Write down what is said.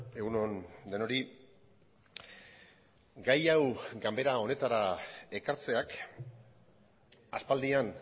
egun on denoi gai hau ganbera honetara ekartzeak aspaldian